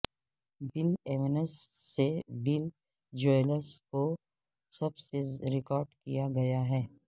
بل Evans سے Bill Joel کو سب سے ریکارڈ کیا گیا ہے